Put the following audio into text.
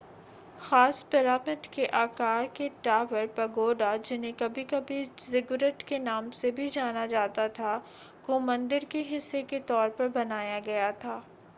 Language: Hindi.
खास पिरामिड के आकार के टॉवर पगोडा जिन्हें कभी-कभी ज़िगुरैट के नाम से भी जाना जाता था को मंदिर के हिस्से के तौर पर बनाया गया था